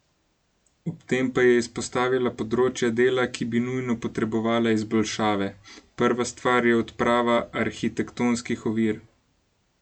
Ob tem pa je izpostavila področja dela, ki bi nujno potrebovala izboljšave: "Prva stvar je odprava arhitektonskih ovir.